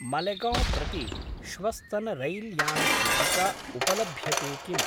मलेगौं प्रति श्वस्तनरैल्यानचीटिका उपलभ्यते किम्?